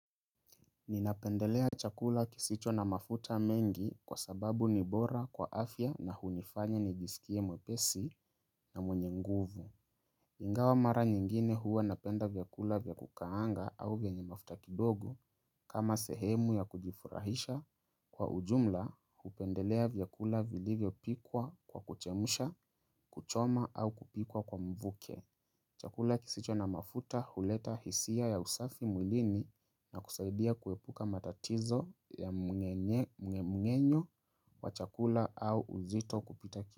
Ninapendelea chakula kisicho na mafuta mengi kwa sababu ni bora kwa afya na hunifanya nijisikie mwepesi na mwenye nguvu. Ingawa mara nyingine huwa napenda vyakula vya kukaanga au vyenye mafuta kidogo kama sehemu ya kujifurahisha kwa ujumla hupendelea vyakula vilivyo pikwa kwa kuchemusha, kuchoma au kupikwa kwa mvuke. Chakula kisicho na mafuta huleta hisia ya usafi mwilini na kusaidia kuepuka matatizo ya mmeng'enyonyo wa chakula au uzito kupita ki.